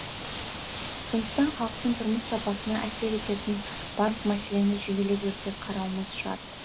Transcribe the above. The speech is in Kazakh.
сондықтан халықтың тұрмыс сапасына әсер ететін барлық мәселені жүйелі түрде қарауымыз шарт